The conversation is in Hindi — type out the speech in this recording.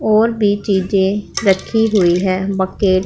और भी चीजे रखी हुई है बकेट --